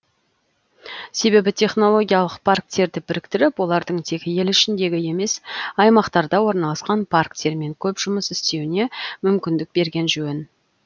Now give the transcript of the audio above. себебі технологиялық парктерді біріктіріп олардың тек ел ішіндегі емес аймақтарда орналасқан парктермен көп жұмыс істеуіне мүмкіндік берген жөн